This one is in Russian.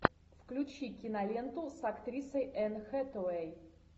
включи киноленту с актрисой энн хэтэуэй